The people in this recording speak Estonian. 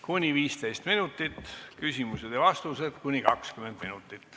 Kuni 15 minutit, küsimused ja vastused kuni 20 minutit.